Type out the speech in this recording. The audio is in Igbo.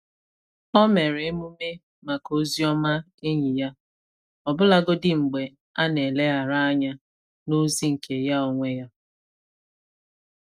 O mere emume maka ozi ọma enyi ya, ọbụlagodi mgbe a na eleghara anya n'ozi nke ya onwe ya.